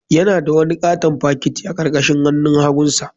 Yana da wani katon fakiti a karkashin hannun hagunsa.